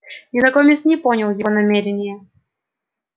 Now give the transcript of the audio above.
незнакомец не понял его намерения